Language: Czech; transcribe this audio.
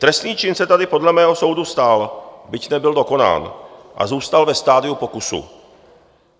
Trestný čin se tady podle mého soudu stal, byť nebyl dokonán a zůstal ve stadiu pokusu.